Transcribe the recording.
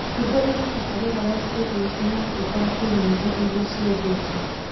hingũrĩra tabarĩra ya sirius na ũthaake nyĩmbo iria ciendetwo